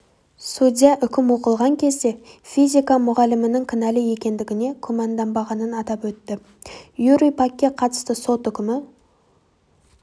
судья үкім оқылған кезде физика мұғалімінің кінәлі екендігіне күмәнданбағанын атап өтті юрий пакке қатысты сот үкімі